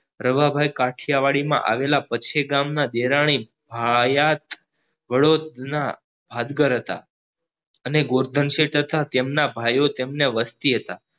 રવા ભાઈ કાઢીયાવાડી માં આવેલા પચ્યા ગામ માં આવેલા દેવાની ભાયાત વડોદના હતા અને ગોવર્ધન શેઠ હતા તેમના ભાઈઓ તેમના વસ્તી હતા